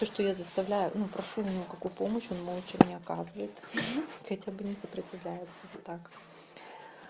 то что я заставляю ну прошу не могу помочь он молчал мне оказывает хотя бы не сопротивляется вот так